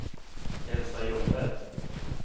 Elsa Ljungberg